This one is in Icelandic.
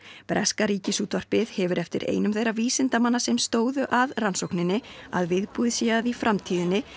breska Ríkisútvarpið hefur eftir einum þeirra vísindamanna sem stóðu að rannsókninni að viðbúið sé að í framtíðinni